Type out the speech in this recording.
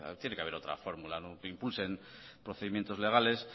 tiene que haber otra fórmula que impulsen procedimientos legales